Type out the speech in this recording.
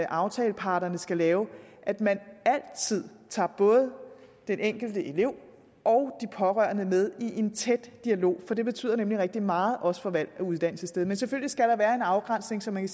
aftaleparterne skal lave at man altid tager både den enkelte elev og de pårørende med i en tæt dialog for det betyder nemlig rigtig meget også for valg af uddannelsessted men selvfølgelig skal der være en afgrænsning så man